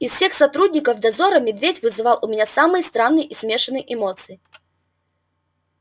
из всех сотрудников дозора медведь вызывал у меня самые странные и смешанные эмоции